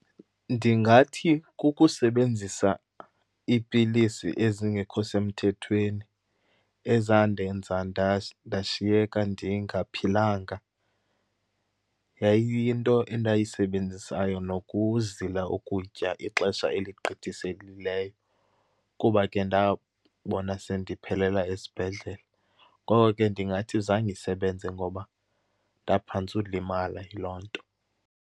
Ndingathi kukusebenzisa iipilisi ezingekho semthethweni ezandenza ndashiyeka ndingaphilanga. Yayiyinto endayisebenzisayo, nokuzila ukutya ixesha eligqithisekileyo, kuba ke ndabona sendiphelela esibhedlele. Ngoko ke ndingathi zange isebenze ngoba ndaphantsa ulimala yiloo nto.